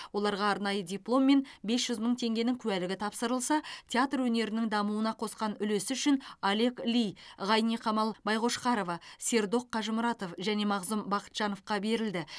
оларға арнайы диплом мен бес жүз мың теңгенің куәлігі тапсырылса театр өнерінің дамуына қосқан үлесі үшін олег ли ғайниқамал байқошқарова сердок қажымұратов және мағзұм бақытжановқа берілді